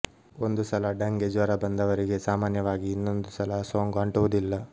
ಒಂದು ಸಲ ಡಂಗೆ ಜ್ವರ ಬಂದವರಿಗೆ ಸಾಮಾನ್ಯವಾಗಿ ಇನ್ನೊಂದು ಸಲ ಸೋಂಕು ಅಂಟುವುದಿಲ್ಲ